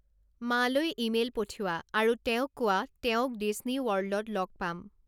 মালৈ email পঠিওৱা আৰু তেওঁক কোৱা তেওঁক ডিছ্নী ৱৰ্ল্ডত লগ পাম